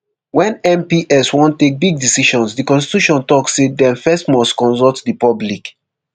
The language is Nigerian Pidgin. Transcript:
wen mps wan take big decisions di constitution tok say dem first must consult di public